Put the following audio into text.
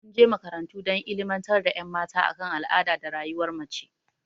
Mun je makarantu dan illimantar da ƴan mata a kan al'ada da rayuwar mace